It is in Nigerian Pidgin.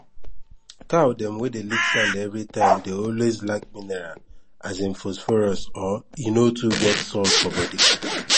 cow dem wey dey lick sand everytime dey always lack miniral as in phosphorus or e no too get salt for body